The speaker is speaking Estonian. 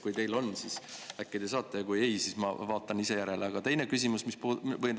Kui teie, siis äkki te saate, aga kui ei, siis ma vaatan ise järele.